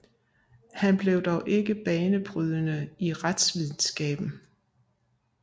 Han blev dog ikke banebrydende i retsvidenskaben